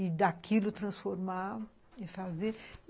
E daquilo transformar e fazer.